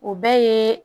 O bɛɛ ye